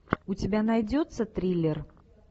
у тебя найдется триллер